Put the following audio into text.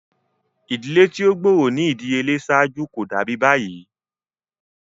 Idile ti o gbooro ni idiyele ṣaaju ko dabi bayi.